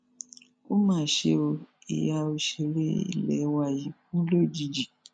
ó mà ṣe ó ìyá òṣèré ilé wa yìí kù lójijì